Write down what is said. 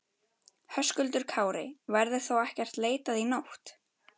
Höskuldur Kári: Verður þá ekkert leitað í nótt?